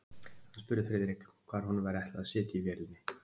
Hann spurði Friðrik, hvar honum væri ætlað að sitja í vélinni.